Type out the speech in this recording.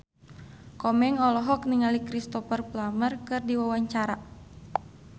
Komeng olohok ningali Cristhoper Plumer keur diwawancara